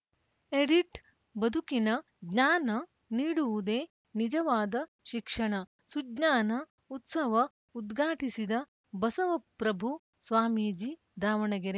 edit ಬದುಕಿನ ಜ್ಞಾನ ನೀಡುವುದೇ ನಿಜವಾದ ಶಿಕ್ಷಣ ಸುಜ್ಞಾನ ಉತ್ಸವ ಉದ್ಘಾಟಿಸಿದ ಬಸವ ಪ್ರಭು ಸ್ವಾಮೀಜಿ ದಾವಣಗೆರೆ